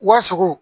Wa sogo